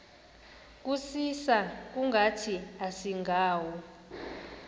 kusisa kungathi asingawo